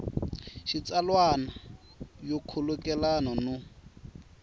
ya xitsalwana yo khulukelana no